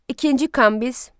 İkinci Kambiz.